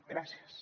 gràcies